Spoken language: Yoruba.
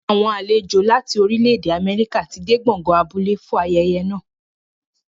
Àwọn àlejò láti orílẹ̀-èdè Amẹ́ríkà ti dé gbọ̀ngàn abúlé fún ayẹyẹ náà.